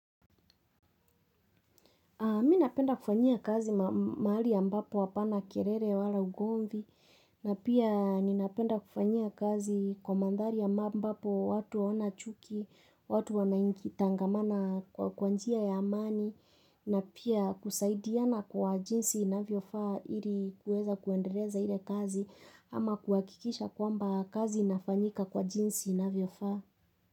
Mi napenda kufanyia kazi mahali ambapo hapana kelele wala ugomvi na pia ninapenda kufanyia kazi kwa mandhari ambapo watu hawana chuki, watu wanaingi tangamana kwa kwa njia ya amani na pia kusaidiana kwa jinsi inavyofaa ili kueza kuendeleza ile kazi ama kuhakikisha kwamba kazi inafanyika kwa jinsi inavyofaa.